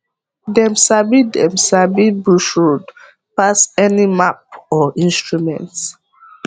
dem sabi dem sabi bush road pass any map or instrument